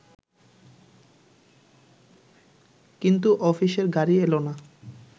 কিন্তু অফিসের গাড়ি এল না